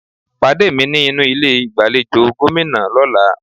Pàdé mi ní inú ilé ìgbàlejò Gómìnà lọ́là